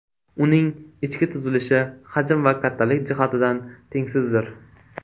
Uning ichki tuzilishi hajm va kattalik jihatidan tengsizdir.